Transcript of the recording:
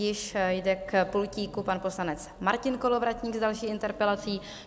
Již jde k pultíku pan poslanec Martin Kolovratník s další interpelací.